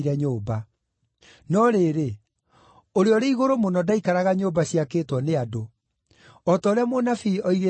“No rĩrĩ, Ũrĩa-ũrĩ-Igũrũ-Mũno ndaikaraga nyũmba ciakĩtwo nĩ andũ. O ta ũrĩa mũnabii oigĩte atĩrĩ: